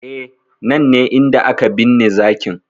E, nan ne inda aka binne zakin.